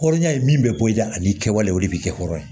Hɔrɔnya ye min bɛ bɔ i dɛ ani kɛwalew de bɛ kɛ hɔrɔn ye